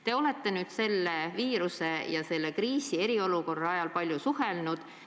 Te olete nüüd selle viirusega seotud eriolukorra ajal palju suhelnud.